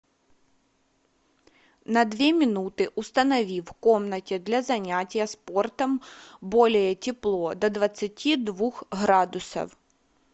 на две минуты установи в комнате для занятия спортом более тепло до двадцати двух градусов